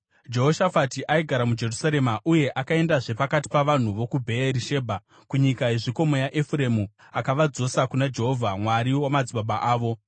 Jehoshafati aigara muJerusarema, uye akaendazve pakati pavanhu vokuBheeri Shebha kunyika yezvikomo yaEfuremu akavadzosa kuna Jehovha, Mwari wamadzibaba avo.